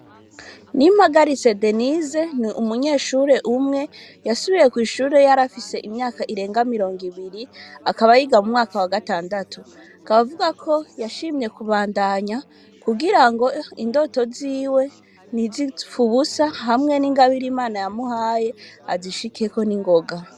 N'i magarise denise ni umunyeshure umwe yasubiye kw'ishure yari afise imyaka irenga mirongo ibiri akabayiga mu mwaka wa gatandatu kabavuga ko yashimye kubandanya kugira ngo indoto ziwe ni zik ubusa hamwe n'ingabire imana yamuhaye azishikiyeko ni ngobe.